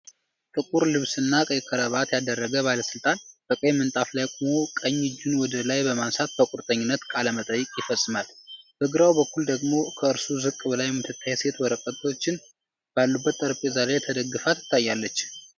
ጥቁር ልብስና ቀይ ክራባት ያደረገ ባለስልጣን፣ በቀይ ምንጣፍ ላይ ቆሞ ቀኝ እጁን ወደ ላይ በማንሳት በቁርጠኝነት ቃለ መሃላ ይፈጽማል። በግራው በኩል ደግሞ ከእርሱ ዝቅ ብላ የምትታይ ሴት ወረቀቶች ባሉበት ጠረጴዛ ላይ ተደግፋ ትታያለች።